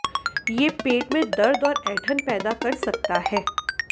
ये पेट में दर्द और ऐंठन पैदा कर सकता है